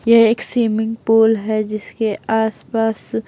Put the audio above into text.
यह एक swimming pool है जिसके आसपास--